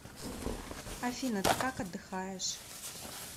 афина ты как отдыхаешь